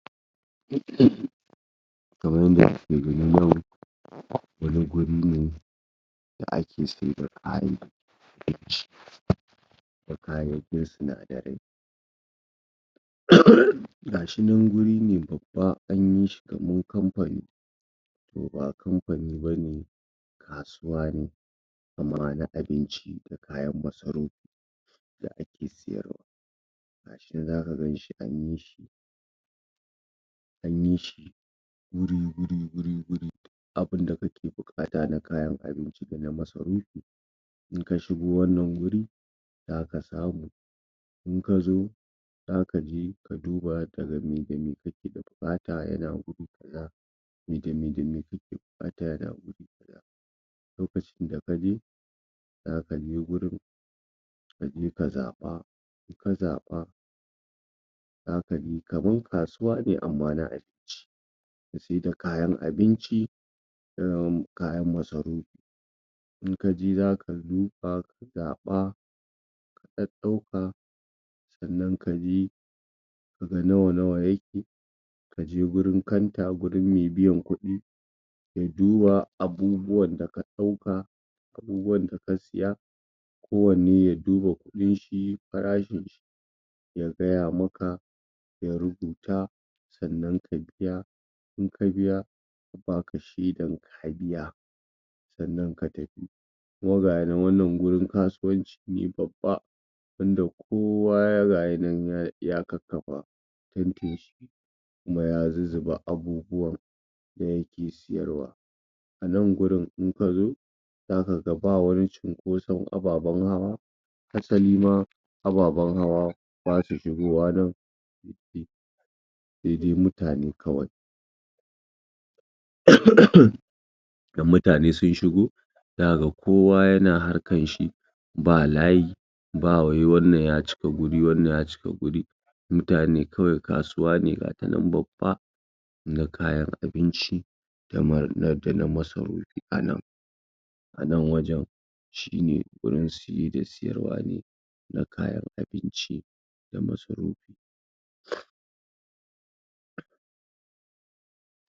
Kamar yadda kuke gani nan wani wuri ne da ake sayar da kayan abinci, da kayan sinadarai uhm ga shi nan wuri ne babba an yi shi kamar kamfani, Toh ba kamfani ba ne kasuwa ne amma na abinci kayan masarufi da ake sayarwa, gashi zaka gan shi an yi, an yi shi wuri wuri wuri abin da kake buƙata na kayan abinci da masarufi in ka shigo wannan wuri zaka samu in ka zo za ka je ka duba ka ga mai da mai kake da buƙata yana wurin mai da mai kake buƙata yana wurin lokacin da ka je, za ka je wurin ka je ka zaɓa, inka zaɓa za ka je, kamar kasuwa ne amma na abinci ya saida kayan abinci tsayawar mu kayan masarufi in ka je za ka duba ka zaɓa ka ɗaɗɗauka sannan ka bi ka ga nawa-nawa yake ka je wajen kanta wajen mai biyan kuɗi ya duba abubuwan da ka ɗauka, abubuwan da ka saya, kowanne ya duba kuɗin shi farashin si ya gaya maka ya rubuta sannan ka biya, in ka biya ya baka shaidar ka biya sannan ka tafi kuma ga shi nan wannan wurin kasuwanci ne babba, tunda kowa ga shi nan ya kakkafa tanti shi kuma ya zuzzuba abubuwan da yake sayarwa a nan wurin in ka zo za ka ga ba wani cinkoson ababan hawa, asali ma ababan hawa ba su shigowa wurin sai dai mutane kawai um idan mutane sun shigo na ga kowa yana harkar shi ba layi ba wai wannan ya cika wuri wannan ya cika wuri mutane kawai kasuwa ne ka ta nan babba na kayan abinci na damina da na masarufi a nan a nan wajen shi ne wurin saye da sayarwa ne na kayan abinci da masarufi.